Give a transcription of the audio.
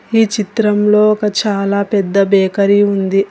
ఈ చిత్రంలో ఒక చాలా పెద్ద బేకరి ఉంది.